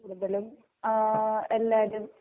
കൂടുതലും ആഹ്ഹ് എല്ലാരും